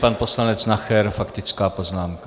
Pan poslanec Nacher, faktická poznámka.